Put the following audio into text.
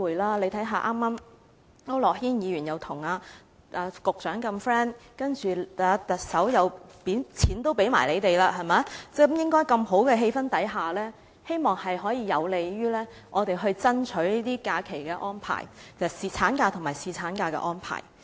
大家看一看，區諾軒議員跟局長如此友好，特首甚至錢也捐給他們，在氣氛如此良好的情況下，希望會有利於我們爭取這些假期安排，即產假和侍產假的安排。